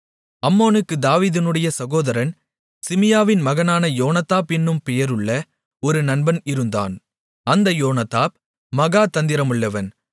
அம்னோனுக்குத் தாவீதினுடைய சகோதரன் சிமியாவின் மகனான யோனதாப் என்னும் பெயருள்ள ஒரு நண்பன் இருந்தான் அந்த யோனதாப் மகா தந்திரமுள்ளவன்